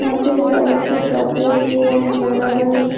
মাঠের চারিদিকে প্রাচীর দিয়ে ঘেরা রয়েছ--